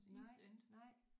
Nej nej